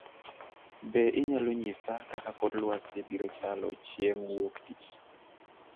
Be inyalo nyisa kaka kor lwasi biro chalo chieng' Wuok Tich?